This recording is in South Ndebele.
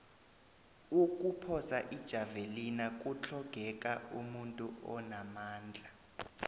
ukuphosa ijavelina kutlhogeka umuntu onamandla